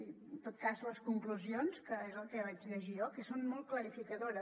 i en tot cas les conclusions que és el que vaig llegir jo que són molt clarificadores